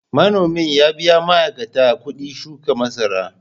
Manomin ya biya ma’aikata kuɗin shuka masara.